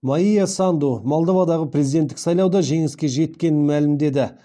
майя санду молдовадағы президенттік сайлауда жеңіске жеткенін мәлімдеді